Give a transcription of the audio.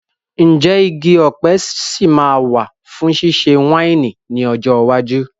Ǹjẹ́ igi ọ̀pẹ sì máa wà fún ṣíṣe wáìnì ní ọjọ́ iwájú?